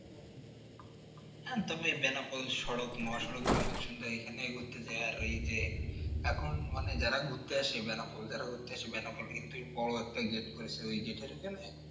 হ্যাঁ তবে বেনাপোল সড়ক মহাসড়ক জনসংযোগ খানে ঘুরতে যায় আর ওই যে এখন মানে ঘুরতে আছে যারা বেনাপোল যারা ঘুরতে আসে বেনাপোল কিন্তু ওই